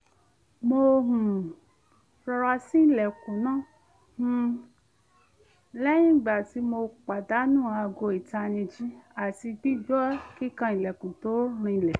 mo um rọra ṣí ilẹ̀kùn náà um lẹ́yìn ìgbà tí mo pàdánù aago ìtanijí àti gbígbọ́ kíkan ilẹ̀kùn tó rinlẹ̀